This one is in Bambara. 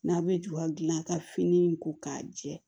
N'a bɛ ju ka gilan ka fini ko k'a jɛ